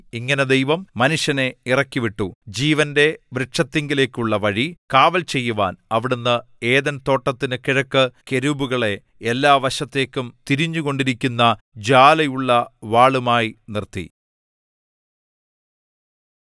ഇങ്ങനെ ദൈവം മനുഷ്യനെ ഇറക്കിവിട്ടു ജീവന്റെ വൃക്ഷത്തിങ്കലേക്കുള്ള വഴി കാവൽചെയ്യുവാൻ അവിടുന്ന് ഏദെൻ തോട്ടത്തിന് കിഴക്ക് കെരൂബുകളെ എല്ലാ വശത്തേക്കും തിരിഞ്ഞുകൊണ്ടിരിക്കുന്ന ജ്വാലയുള്ള വാളുമായി നിർത്തി